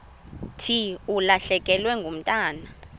thi ulahlekelwe ngumntwana